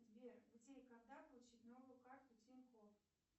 сбер где и когда получить новую карту тинькофф